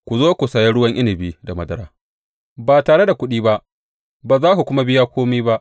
Ku zo, ku saya ruwan inabi da madara ba tare da kuɗi ba ba za ku kuma biya kome ba.